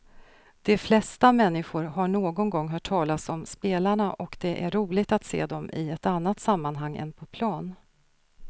De flesta människor har någon gång hört talas om spelarna och det är roligt att se dem i ett annat sammanhang än på plan.